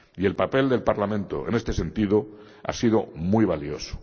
Y el papel del Parlamento, en este sentido, ha sido muy valioso.